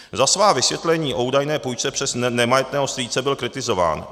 Za svá vysvětlení o údajné půjčce přes nemajetného strýce byl kritizován.